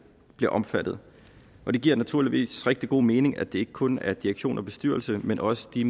bliver omfattet det giver naturligvis rigtig god mening at det ikke kun er direktion og bestyrelse men også de